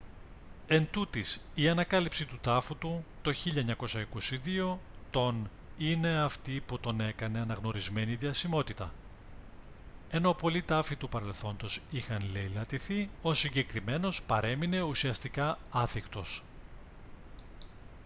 εντούτοις η ανακάλυψη του τάφου του το 1922 τον είναι αυτή που τον έκανε αναγνωρισμένη διασημότητα ενώ πολλοί τάφοι του παρελθόντος είχαν λεηλατηθεί ο συγκεκριμένος παρέμεινε ουσιαστικά άθικτος